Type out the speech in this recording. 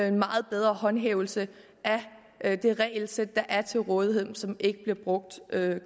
en meget bedre håndhævelse af det regelsæt der er til rådighed men som ikke bliver brugt